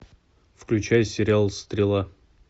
включай сериал стрела